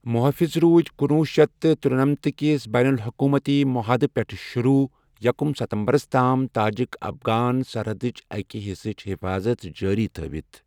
محٲفِظ روٗدۍ کنوہہ شٮ۪تھ ترنمتہٕ کِس بین الحکوٗمتی محادٕ پیٹھٕ شروٗع یکُم ستمبرس تام تاجِک افغان سرحدٕچ اَکہِ حصٕچ حفاظت جٲری تھٲوِتھ ۔